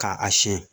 K'a a siyɛn